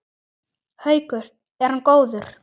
Haukur: Er hann góður?